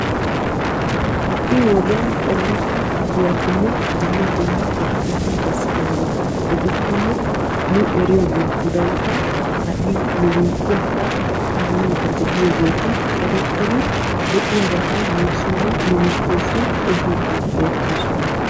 Ha"i wodiyan ooratta giyatinne dumma dumma eqotati bessidaageeta gidikkonne ha'i nu eriyoogeetudankka kaallayidda de"iyoogeeti erettidi nuussinne nu biitteessi beettoosona.